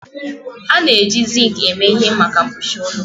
A na-eji zink eme ihe maka mkpuchi ụlọ